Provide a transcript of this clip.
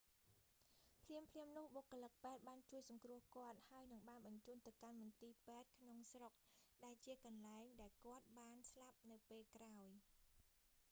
ភ្លាមៗនោះ បុគ្គលិកពេទ្យបានជួយសង្គ្រោះគាត់ ហើយនិងបានបញ្ជូនទៅកាន់មន្ទីរពេទ្យក្នុងស្រុក ដែលជាកន្លែងដែលគាត់បានស្លាប់នៅពេលក្រោយ